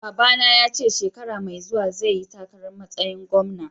Babba na ya ce shekara Mai zuwa zai yi takara masayin gwamna.